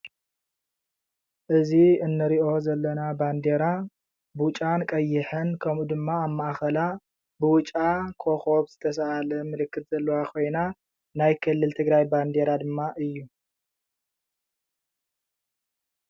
እዚ እንሪኦ ዘለና ባንዴራ ብጫን ቀይሕን ከምኡ ድማ ኣብ ማእከላ ብብጫ ኮኸብ ዝተሰኣለ ምልክት ዘለዋ ኮይና ናይ ክልል ትግራይ ባንዴራ ድማ እዩ፡፡